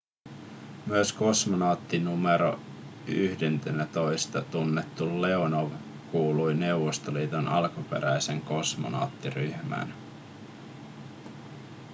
myös kosmonautti nro 11:nä tunnettu leonov kuului neuvostoliiton alkuperäiseen kosmonauttiryhmään